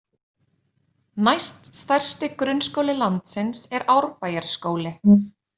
Næst stærsti grunnskóli landsins er Árbæjarskóli.